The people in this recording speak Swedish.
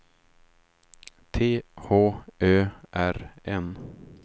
T H Ö R N